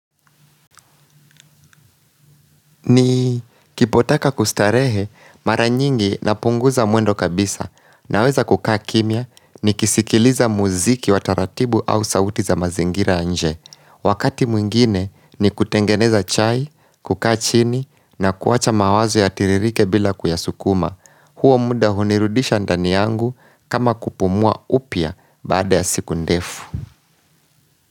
Ni kipotaka kustarehe mara nyingi na punguza mwendo kabisa na weza kukaa kimya ni kisikiliza muziki wa taratibu au sauti za mazingira ya nje. Wakati mwingine ni kutengeneza chai, kukaa chini na kuacha mawazo ya tiririke bila kuyasukuma. Huo muda hunirudisha ndani yangu kama kupumua upya baada ya siku ndefu.